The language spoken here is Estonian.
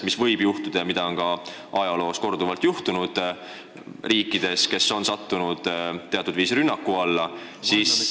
See võib juhtuda – seda on ajaloos korduvalt ette tulnud, kui mõni riik on sattunud teatud viisil rünnaku alla.